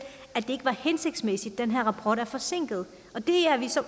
at det ikke var hensigtsmæssigt at den her rapport er forsinket det er vi så